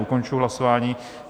Ukončuji hlasování.